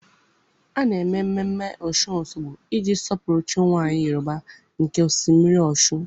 A na-eme mmemme Ọshụn Osogbo iji sọpụrụ chi nwanyị Yorùbá nke osimiri Ọshụn.